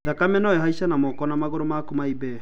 Thakame no ĩhaice, na moko na magũrũ makũ maimbe